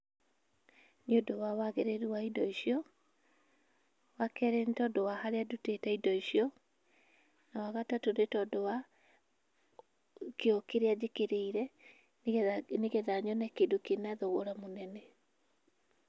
Nĩũndũ wagĩrĩru wa indo icio, wa kerĩ nĩ tondũ wa harĩa ndutĩte indo icio, na wagatatũ nĩ tondũ wa kĩo kĩrĩa njĩkĩrĩire, nĩgetha nyone kĩndũ kĩna thogora mũnene.